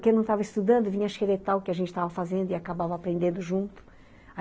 Quem não estava estudando vinha xeretar o que a gente estava fazendo e acabava aprendendo junto.